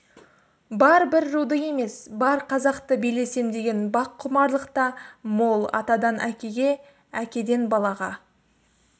бар бір руды емес бар қазақты билесем деген баққұмарлық та мол атадан әкеге әкеден балаға